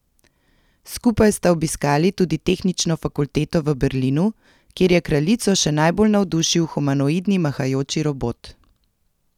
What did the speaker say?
Skupaj sta obiskali tudi Tehnično fakulteto v Berlinu, kjer je kraljico še najbolj navdušil humanoidni mahajoči robot.